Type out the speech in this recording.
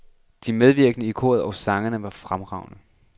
De medvirkede i koret og sangene var fremragende.